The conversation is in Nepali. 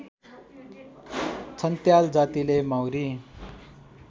छन्त्याल जातिले माउरी